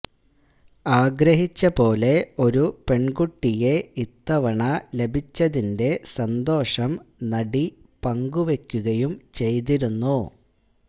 ആഗ്രഹിച്ച പോലെ ഒരു പെണ്കുട്ടിയെ ഇത്തവണ ലഭിച്ചതിന്റെ സന്തോഷം നടി പങ്കുവെക്കുകയും ചെയ്തിരുന്നു